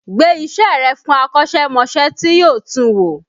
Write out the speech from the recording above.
Gbe iṣẹ́ rẹ̀ fún akọ́ṣẹ́mọṣẹ́ tí yóò tun wò!